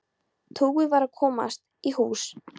Tauið varð að komast í hús.